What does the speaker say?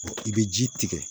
I bɛ ji tigɛ